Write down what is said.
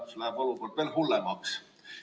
Olukord läheb veel hullemaks.